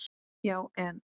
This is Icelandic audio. Já en.